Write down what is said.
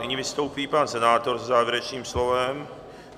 Nyní vystoupí pan senátor se závěrečným slovem.